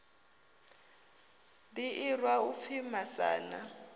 ḓi irwa u pfi masana